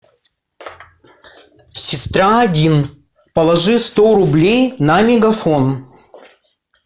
сестра один положи сто рублей на мегафон